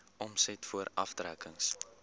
omset voor aftrekkings